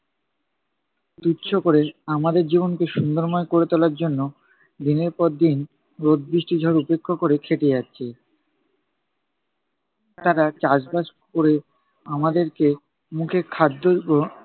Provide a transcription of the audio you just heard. তুচ্ছ কোরে, আমাদের জীবনকে সুন্দরময় করে তোলার জন্য দিনের পর দিন রোদ বৃষ্টি ঝড় উপেক্ষা করে খেটে যাচ্ছে। তারা চাষবাস কোরে আমাদেরকে মুখে খাদ্য